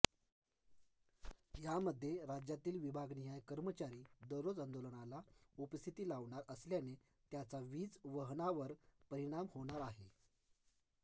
यामध्ये राज्यातील विभागनिहाय कर्मचारी दररोज आंदोलनाला उपस्थिती लावणार असल्याने त्याचा वीज वहनावर परिणाम होणार आहे